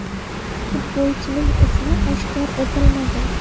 Futbolchining ismi oshkor etilmagan.